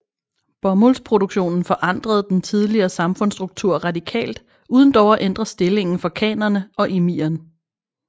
Bomuldsproduktionen forandrede den tidligere samfundsstruktur radikalt uden dog at ændre stillingen for khanene og emiren